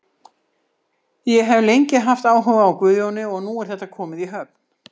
Ég hef lengi haft áhuga á Guðjóni og nú er þetta komið í höfn.